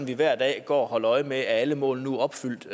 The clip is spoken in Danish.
vi hver dag går og holder øje med at alle mål nu er opfyldt